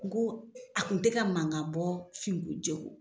kun ko a kun tɛ ka mankan bɔ finko jɛko.